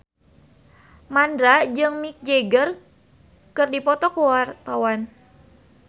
Mandra jeung Mick Jagger keur dipoto ku wartawan